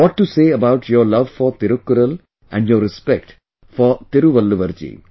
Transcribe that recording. What to say about your love for Thirukkural and your respect for Thiruvalluvar ji